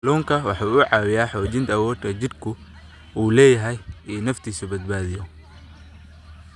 Kalluunku waxa uu caawiyaa xoojinta awoodda jidhku u leeyahay in uu naftiisa badbaadiyo.